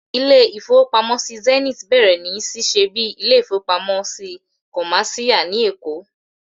Ilé-ìfowópamọ́sí Zenith bẹ̀rẹ̀ sí ní ṣíṣe bíi ilé-ìfowópamọ́sí kọ̀máṣíyà ní Èkó